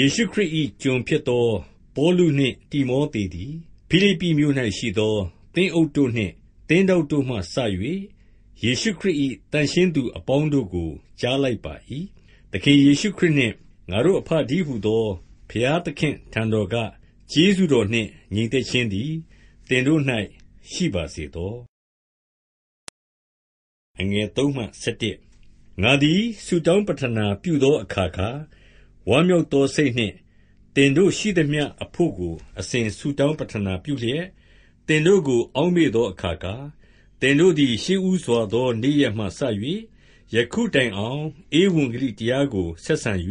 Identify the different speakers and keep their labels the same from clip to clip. Speaker 1: ယေရှုခရစ်၏ ကျွန်ဖြစ်သောပေါလုနှင့် တိမောသေသည်၊ ဖိလိပ္ပိမြို့၌ရှိသော သင်းအုပ်တို့နှင့် သင်းထောက်တို့မှစ၍ ယေရှုခရစ်၏ သန့်ရှင်းသူအပေါင်းတို့ကို ကြားလိုက်ပါ၏။- 2သခင်ယေရှုခရစ်နှင့် ငါတို့အဘတည်းဟူသော ဘုရားသခင့်အထံတော်က ကျေးဇူးတော်နှင့် ငြိမ်သက်ခြင်းသည် သင်တို့၌ ရှိပါစေသော။ 3-5ငါသည် ဆုတောင်းပတ္ထနာပြုသော အခါခါ၊ ဝမ်းမြောက်သောစိတ်နှင့် သင်တို့ရှိသမျှအဖို့ကို အစဉ် ဆုတောင်းပတ္ထနာပြုလျက်၊ သင်တို့ကို အောက်မေ့သောအခါခါ၊ သင်တို့သည် ရှေ့ဦးစွာသောနေ့ရက်မှစ၍ ယခုတိုင်အောင် ဧဝံဂလိတရားကို ဆက်ဆံ၍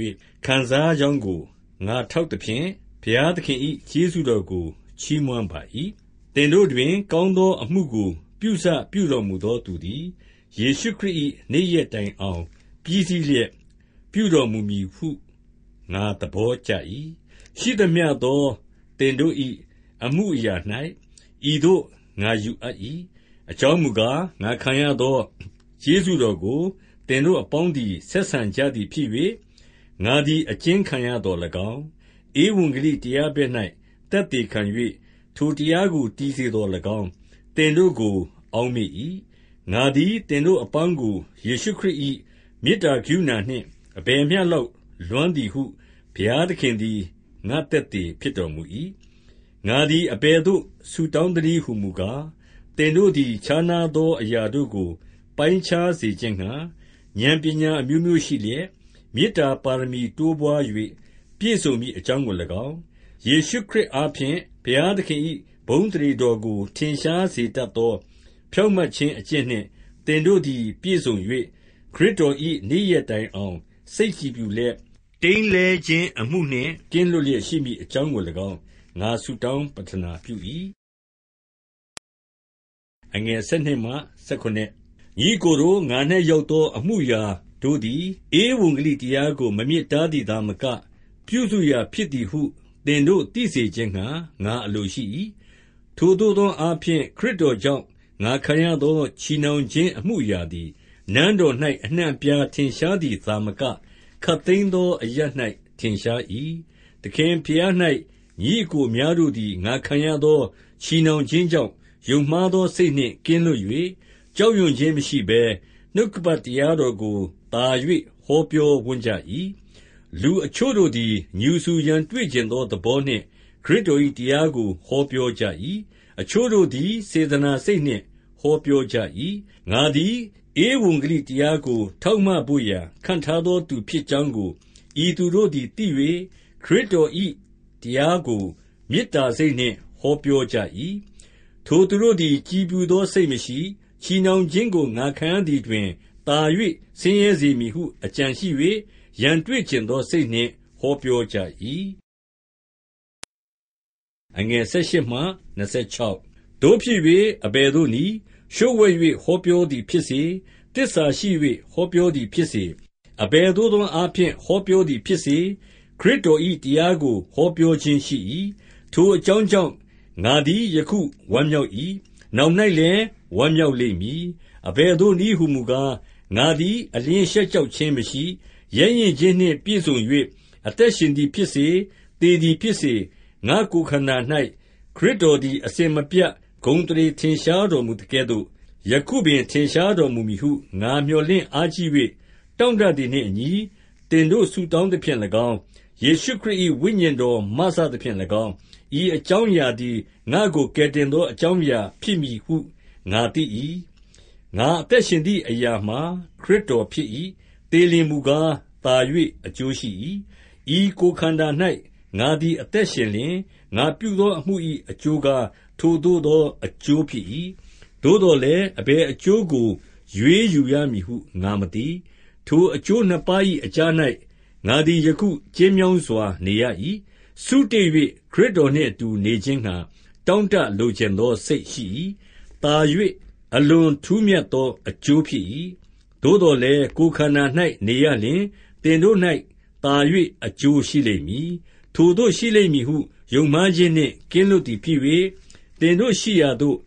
Speaker 1: ခံစားကြောင်းကို ငါထောက်သဖြင့်၊ ဘုရားသခင်၏ ကျေးဇူးတော်ကို ချီးမွမ်းပါ၏။- 6သင်တို့တွင် ကောင်းသောအမှုကို ပြုစပြုတော်မူသောသူသည်၊ ယေရှုခရစ်၏ နေ့ရက်တိုင်အောင် ပြီးစီးလျက် ပြုတော်မူမည်ဟု ငါသဘောကျ၏။- 7ရှိသမျှသောသင်တို့၏ အမှုအရာ၌ ဤသို့ ငါယူအပ်၏။ အကြောင်းမူကား၊ ငါခံရသော ကျေးဇူးတော်ကို သင်တို့အပေါင်းသည် ဆက်ဆံကြသည်ဖြစ်၍၊ ငါသည် အကျဉ်းခံရသော်လည်းကောင်း၊ ဧဝံဂလိတရားဘက်၌ သက်သေခံ၍ ထိုတရားကို တည်စေသော်လည်းကောင်း၊ သင်တို့ကို အောက်မေ့၏။- 8ငါသည် သင်တို့အပေါင်းကို ယေရှုခရစ်၏ မေတ္တာကရုဏာနှင့် အဘယ်မျှလောက် လွမ်းသည်ဟု ဘုရားသခင်သည် ငါ့သက်သေဖြစ်တော်မူ၏။- 9ငါသည် အဘယ်သို့ ဆုတောင်းသနည်းဟူမူကား၊ သင်တို့သည် ခြားနားသောအရာတို့ကို ပိုင်းခြားစေခြင်းငှာ ဉာဏ်ပညာအမျိုးမျိုးရှိလျက်၊- 10မေတ္တာပါရမီတိုးပွား၍ ပြည့်စုံမည်အကြောင်းကိုလည်းကောင်း၊- 11ယေရှုခရစ်အားဖြင့် ဘုရားသခင်၏ ဘုန်းအသရေတော်ကို ထင်ရှားစေတတ်သော ဖြောင့်မတ်ခြင်း အကျင့်နှင့် သင်တို့သည် ပြည့်စုံ၍ ခရစ်တော်၏ နေ့ရက်တိုင်အောင် စိတ်ကြည်ဖြူလျက်၊ တိမ်းလဲခြင်းအမှုနှင့် ကင်းလွတ်လျက် ရှိမည်အကြောင်းကိုလည်းကောင်း၊ ငါဆုတောင်း ပတ္ထနာပြု၏။ 12ညီအစ်ကိုတို့၊ ငါ၌ရောက်သော အမှုအရာတို့သည် ဧဝံဂေလိတရားကို မမြစ်တားသည်သာမက၊ ပြုစုရာဖြစ်သည်ဟု သင်တို့ သိစေခြင်းငှာ ငါအလိုရှိ၏။- 13ထိုသို့သောအားဖြင့် ခရစ်တော်ကြောင့် ငါခံရသော ချည်နှောင်ခြင်းအမှုအရာသည်၊ နန်းတော်၌ အနှံ့အပြားထင်ရှားသည်သာမက၊ ခပ်သိမ်းသောအရပ်၌ ထင်ရှား၏။- 14သခင်ဘုရား၌ ညီအစ်ကိုအများတို့သည် ငါခံရသော ချည်နှောင်ခြင်းကြောင့် ယုံမှားသောစိတ်နှင့် ကင်းလွတ်၍ ကြောက်ရွံ့ခြင်း မရှိဘဲ၊ နှုတ်ကပတ်တရားတော်ကို သာ၍ ဟောပြောဝံ့ကြ၏။- 15လူအချို့တို့သည် ငြူစူရန်တွေ့ချင်သောသဘောနှင့် ခရစ်တော်၏တရားကို ဟောပြောကြ၏။ အချို့တို့သည် စေတနာစိတ်နှင့် ဟောပြောကြ၏။- 16ငါသည် ဧဝံဂေလိတရားကို ထောက်မဖို့ရာ ခန့်ထားသောသူဖြစ်ကြောင်းကို ဤသူတို့သည်သိ၍ ခရစ်တော်၏တရားကို မေတ္တာစိတ်နှင့် ဟောပြောကြ၏။- 17ထိုသူတို့သည် ကြည်ဖြူသောစိတ်မရှိ၊ ချည်နှောင်ခြင်းကို ငါခံရသည်တွင် သာ၍ ဆင်းရဲစေမည်ဟု အကြံရှိ၍၊ ရန်တွေ့ချင်သောစိတ်နှင့် ဟောပြောကြ၏။ 18သို့ဖြစ်၍ အဘယ်သို့နည်း၊ လျှို့ဝှက်၍ ဟောပြောသည်ဖြစ်စေ၊ သစ္စာရှိ၍ ဟောပြောသည်ဖြစ်စေ၊ အဘယ်သို့သောအားဖြင့် ဟောပြောသည်ဖြစ်စေ၊ ခရစ်တော်၏တရားကို ဟောပြောခြင်းရှိ၏။ ထိုအကြောင်းကြောင့် ငါသည် ယခုဝမ်းမြောက်၏။ နောင်၌လည်း ဝမ်းမြောက်လိမ့်မည်။- 19-20အဘယ်သို့နည်း ဟူမူကား၊ ငါသည် အလျှင်းရှက်ကြောက်ခြင်းမရှိ၊ ရဲရင့်ခြင်းနှင့်ပြည့်စုံ၍ အသက်ရှင်သည်ဖြစ်စေ၊ သေသည်ဖြစ်စေ၊ ငါ့ကိုယ်ခန္ဓာ၌ ခရစ်တော်သည် အစဉ်မပြတ် ဂုဏ်အသရေထင်ရှား တော်မူသကဲ့သို့၊ ယခုပင် ထင်ရှားတော်မူမည်ဟု ငါမျှော်လင့်အားကြီး၍ တောင့်တသည်နှင့်အညီ သင်တို့ ဆုတောင်းသဖြင့်လည်းကောင်း၊ ယေရှုခရစ်၏ ဝိညာဉ်တော် မစသဖြင့်လည်းကောင်း၊ ဤအကြောင်းအရာသည် ငါ့ကိုကယ်တင်သော အကြောင်းအရာ ဖြစ်မည်ဟု ငါသိ၏။- 21ငါအသက်ရှင်သည်အရာမှာ ခရစ်တော်ဖြစ်၏။ သေလျှင်မူကား၊ သာ၍အကျိုးရှိ၏။- 22ဤကိုယ်ခန္ဓာ၌ ငါသည်အသက်ရှင်လျှင်၊ ငါပြုသောအမှု၏ အကျိုးကား ထိုသို့သောအကျိုး ဖြစ်၏။ သို့သော်လည်း အဘယ်အကျိုးကို ရွေးယူရမည်ဟု ငါမသိ။- 23ထိုအကျိုးနှစ်ပါး၏အကြား၌ ငါသည်ယခု ကျဉ်းမြောင်းစွာ နေရ၏။ စုတေ၍ ခရစ်တော်နှင့်အတူ နေခြင်းငှာ တောင့်တလိုချင်သောစိတ် ရှိ၏။ သာ၍ အလွန် ထူးမြတ်သောအကျိုးဖြစ်၏။- 24သို့သော်လည်း ကိုယ်ခန္ဓာ၌ နေရလျှင် သင်တို့၌ သာ၍ အကျိုးရှိလိမ့်မည်။- 25-26ထိုသို့ရှိလိမ့်မည်ဟု ယုံမှားခြင်းနှင့် ကင်းလွတ်သည်ဖြစ်၍၊ သင်တို့ရှိရာသို့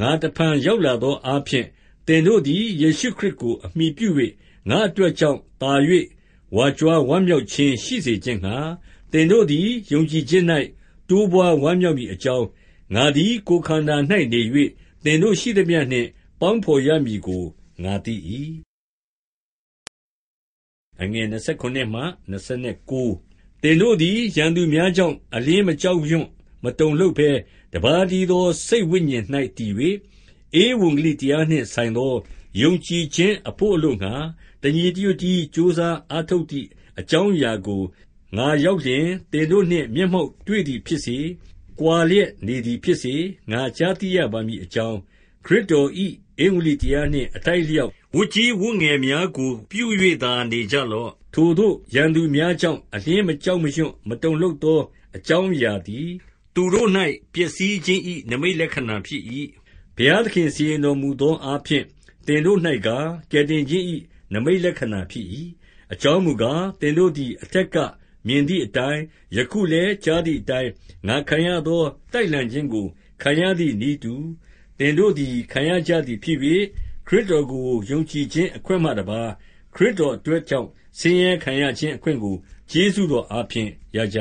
Speaker 1: ငါတစ်ဖန် ရောက်လာသောအားဖြင့်၊ သင်တို့သည် ယေရှုခရစ်ကိုအမှီပြု၍ ငါ့အတွက်ကြောင့် သာ၍ ဝါကြွားဝမ်းမြောက်ခြင်း ရှိစေခြင်းငှာ၊ သင်တို့သည် ယုံကြည်ခြင်း၌ တိုးပွားဝမ်းမြောက်မည်အကြောင်း၊ ငါသည် ကိုယ်ခန္ဓာ၌နေ၍ သင်တို့ရှိသမျှနှင့် ပေါင်းဖော်ရမည်ဟု ငါသိ၏။- 27သင်တို့သည် ရန်သူများကြောင့် အလျှင်း မကြောက်ရွံ့ မတုန်လှုပ်ဘဲ၊ တစ်ပါးတည်းသော စိတ်ဝိညာဉ်၌ တည်၍၊ ဧဝံဂေလိတရားနှင့်ဆိုင်သော ယုံကြည်ခြင်းအဖို့ အလိုငှာ တညီတညွတ်တည်း ကြိုးစားအား ထုတ်ကြသည် အကြောင်းအရာကို၊ ငါရောက်လျှင် သင်တို့နှင့် မျက်မှောက်တွေ့သည်ဖြစ်စေ၊ ကွာလျက်နေသည်ဖြစ်စေ၊ ငါကြားသိရပါမည်အကြောင်း၊ ခရစ်တော်၏ ဧဝံဂေလိတရားနှင့် အထိုက်အလျောက် ဝတ်ကြီးဝတ်ငယ်များကို ပြု၍သာနေကြလော့။- 28ထိုသို့ရန်သူများကြောင့် အလျှင်းမကြောက်ရွံ့ မတုန်လှုပ်သော အကြောင်းအရာသည်၊ သူတို့၌ ပျက်စီးခြင်း၏ နိမိတ်လက္ခဏာဖြစ်၏။ ဘုရားသခင်စီရင်တော်မူသောအားဖြင့် သင်တို့၌ကား၊ ကယ်တင်ခြင်း၏နိမိတ်လက္ခဏာဖြစ်၏။- 29အကြောင်းမူကား၊ သင်တို့သည် အထက်ကမြင်သည်အတိုင်း၊ ယခုလည်း ကြားသည်အတိုင်း ငါခံရသော တိုက်လှန်ခြင်းကို ခံရသည်နည်းတူ၊ သင်တို့သည် ခံရကြသည်ဖြစ်၍၊ ခရစ်တော်ကို ယုံကြည်ခြင်းအခွင့်မှတစ်ပါး၊ ခရစ်တော်အတွက်ကြောင့် ဆင်းရဲခံရခြင်းအခွင့်ကို ကျေးဇူးတော်အားဖြင့် ရကြ